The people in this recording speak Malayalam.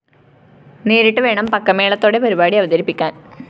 നേരിട്ട്‌ വേണം പക്കമേളത്തോടെ പരിപാടി അവതരിപ്പിക്കാന്‍